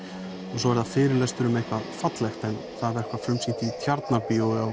og svo er það fyrirlestur um eitthvað fallegt en það var frumsýnt í Tjarnarbíó á